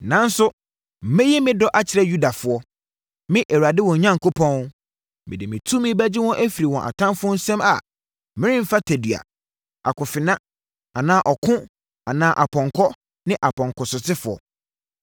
Nanso, mɛyi me dɔ akyerɛ Yudafoɔ. Me Awurade wɔn Onyankopɔn, mede me tumi bɛgye wɔn afiri wɔn atamfoɔ nsam a meremfa tadua, akofena anaa ɔko anaa apɔnkɔ ne apɔnkɔsotefoɔ.”